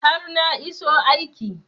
har na iso aiki